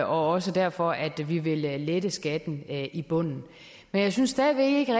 også derfor at vi vil lette lette skatten i bunden jeg synes stadig væk ikke